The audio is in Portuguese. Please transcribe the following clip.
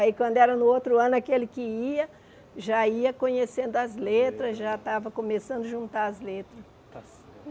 Aí, quando era no outro ano, aquele que ia, já ia conhecendo as letras, já estava começando a juntar as letras.